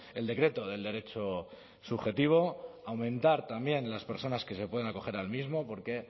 el decreto del derecho subjetivo aumentar también las personas que se pueden acoger al mismo porque